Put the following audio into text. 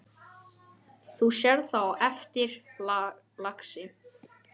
Þú sérð það á eftir, lagsi.